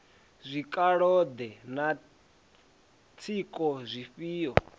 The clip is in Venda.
zwikalo ḓe na tsiko dzifhio